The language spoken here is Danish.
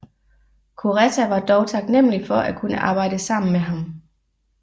Kureta var dog taknemmelig for at kunne arbejde sammen med ham